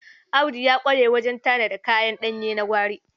Audu ya ƙwarw wajen tanada kayan ɗanye na gwari.